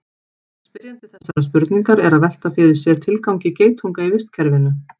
spyrjandi þessarar spurningar er að velta fyrir sér tilgangi geitunga í vistkerfinu